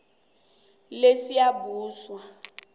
lesiyabuswa